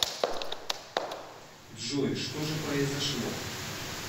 джой что же произошло